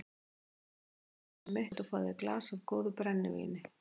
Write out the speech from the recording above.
Komdu inn í húsið mitt og fáðu þér í glas af góðu brennivíni.